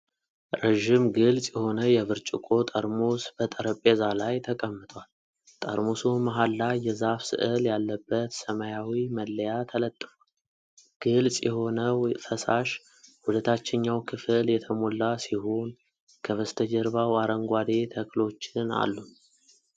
ረዥም ግልጽ የሆነ የብርጭቆ ጠርሙስ በጠረጴዛ ላይ ተቀምጧል። ጠርሙሱ መሀል ላይ የዛፍ ስዕል ያለበት ሰማያዊ መለያ ተለጥፏል። ግልጽ የሆነው ፈሳሽ ወደ ታችኛው ክፍል የተሞላ ሲሆን፣ ከበስተጀርባው አረንጓዴ ተክሎችን አሉን?